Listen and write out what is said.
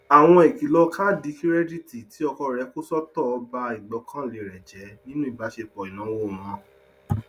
àwọn ìkìlọ kaadi kirẹditi tí ọkọ rẹ kò sọtọ bá ìgbọkànlé rẹ jẹ nínú ìbáṣepọ ináwó wọn